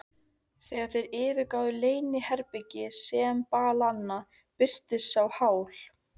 Þegar þeir yfirgáfu leyniherbergi sembalanna, birtist sá Hal